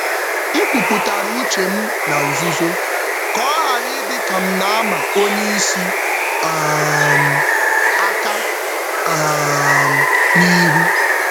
M kwupụtara nchegbu m na nzuzo nzuzo ka ọ ghara ịdị ka um m na-agbagha oga ozugbo.